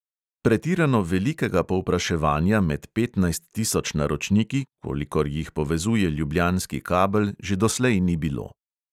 Pretirano velikega povpraševanja med petnajst tisoč naročniki, kolikor jih povezuje ljubljanski kabel, že doslej ni bilo.